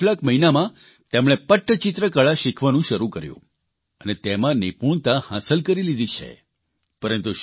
પરંતુ છેલ્લા કેટલાક મહિનામાં તેમણે પટ્ટચિત્રકળા શીખવાનું શરૂ કર્યું અને તેમાં નિપૂણતા હાંસલ કરી લીધી છે